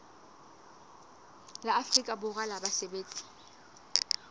la afrika borwa la basebetsi